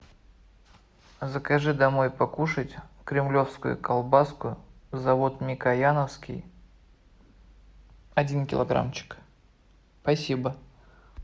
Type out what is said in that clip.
закажи домой покушать кремлевскую колбаску завод микояновский один килограммчик спасибо